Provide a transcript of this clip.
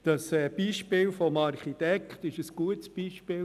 Das Beispiel des Architekten ist ein gutes Beispiel.